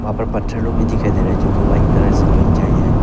वहां पर पत्थर लोग भी दिखाई दे रहा हैं जो कि व्हाइट कलर से पेंट किया गया है।